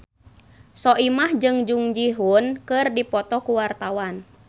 Soimah jeung Jung Ji Hoon keur dipoto ku wartawan